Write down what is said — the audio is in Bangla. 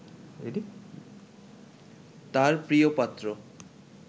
তাঁর প্রিয়পাত্র